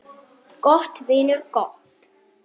Gott, vinur, gott.